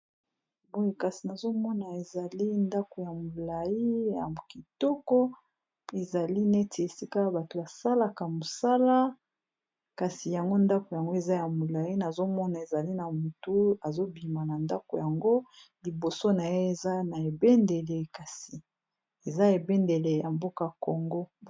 boi kasi nazomona ezali ndako ya molai ya okitoko ezali neti esika a bato basalaka mosala kasi yango ndako yango eza ya molai nazomona ezali na motu azobima na ndako yango liboso na ye eza na ebendele kasi eza ebendele ya mboka kongo